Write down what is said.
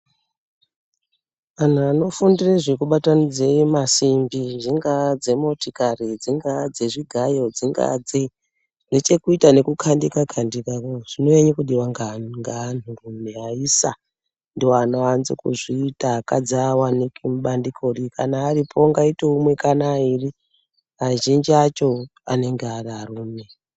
Anhu anofundire zvekubatanidze masimbi dzingaa dzemotikari dzingaaa zvezvigayo dzingaa dzei zvinechekuita nekukandika kandika kaa zvinonyanye kudiwa ngaa ngaantu rume aisa ndoanoanze kuzviita akadzi awaniki mubandiko ri kana aripo ungaite umwe kana airi azhinji acho anenge ari arume.